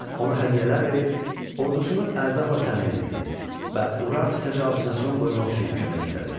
Ona hədiyyələr verib ordusunu ərzaqla təmin etdi və Urartu təcavüzünə son qoymaq üçün kömək istədi.